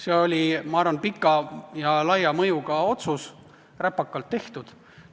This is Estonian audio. See oli, ma arvan, pika ja laia mõjuga otsus, räpakalt tehtud.